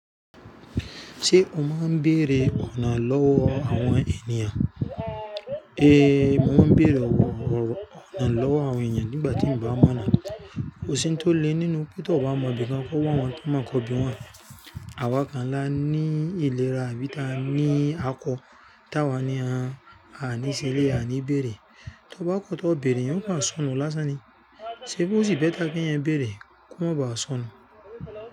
Ṣé o máa ń bèrè ọ̀nà lọ́wọ́ àwọn ènìyàn? Mo máa ń bèrè ọ̀nà lọ́wọ́ àwọn èyàn nígbà tí n bá mọ̀nà. Kó sì tó le nínú pé tó bá mọ bí kò kò wọ̀ wọn, tó máa mọ bí wọn ń rìn. Àwa kan ńlá ni ìlera, àbí ta ní akọ. Táwa ni àníṣẹ́ ilé, àní bèrè. Tó bá kọ́ tó béèrè, èyì kò á sọnù lásán ni. Ṣé bi o sì bẹ́ta kí èyàn ń bèrè, kọ́ mo ba sọnù?